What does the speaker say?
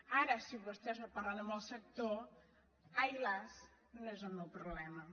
ara si vostès no parlen amb el sector ai las no és el meu problema